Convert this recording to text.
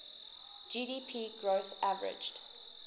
gdp growth averaged